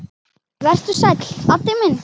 Vertu sæll, Addi minn.